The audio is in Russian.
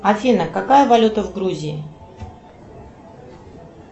афина какая валюта в грузии